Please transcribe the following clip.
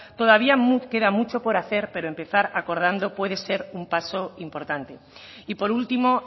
todavía nos queda mucho por hacer pero empezar acordando puede ser un paso importante y por último